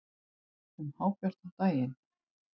Um hábjartan daginn!